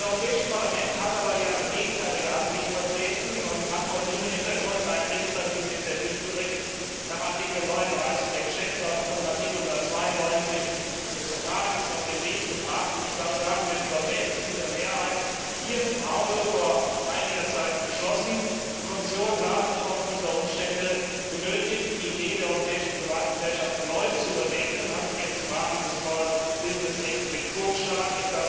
Das Europäische Parlament hat hier aber eine gegenteilige Ansicht vertreten und vor diesem Hintergrund einen legislativen Initiativbericht nach Artikel 39 der Geschäftsordnung und Artikel 192 des Vertrags auf den Weg gebracht und mit überwältigender Mehrheit hier im Hause vor einiger Zeit beschlossen. Die Kommission sah sich ob dieser Umstände genötigt, die Idee der Europäischen Privatgesellschaft erneut zu überdenken, und hat sie jetzt im Rahmen des Small Business Act mit vorgeschlagen.